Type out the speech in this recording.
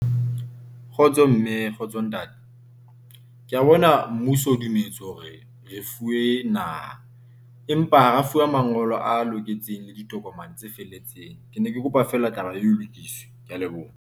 Kgotso mme kgotso ntate ke a bona. Mmuso o dumetse hore le fuwe naha empa ha la fuwa mangolo a loketseng le ditokomane tse felletseng. Ke ne ke kopa feela taba e lokiswe. Ke ya leboha.